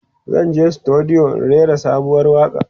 zanje studio in rera sabuwar waƙa